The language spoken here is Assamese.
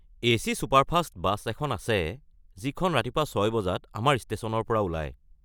এ.চি ছুপাৰফাষ্ট বাছ এখন আছে যিখন ৰাতিপুৱা ৬ বজাত আমাৰ ষ্টেশ্যনৰ পৰা ওলায়।